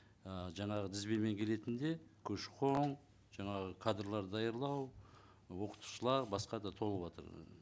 ыыы жаңағы тізбемен келетін де көші қон жаңағы кадрлар даярлау оқытушылар басқа да толыватыр